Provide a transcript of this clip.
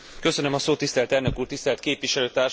Tisztelt elnök úr, tisztelt képviselőtársaim!